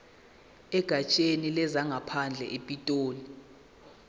egatsheni lezangaphandle epitoli